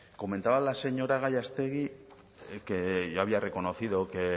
comentaba la señora gallástegui que yo había reconocido que